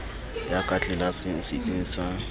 ya ka tlelaseng setsing sa